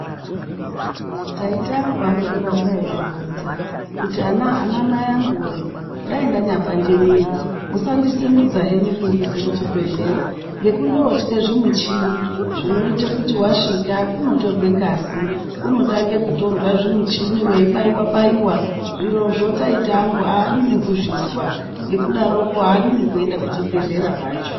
Taita angu anondoramba eizvironza kuti, anaamai angu wee, dai ndanyapande mwiri musandisimudza henyu kundiisa kuchibhedhlera. Ngekundootye zvimuchini zvinoite kuti wasvika kunotorwe ngazi, kunotange kutorwe zvimuchini weibaiwa -baiwa. Zvirozvo taita angu aadi nekuzvizwa. Ngekudaroko, aadi nekuenda kuchibhedhlera kwacho.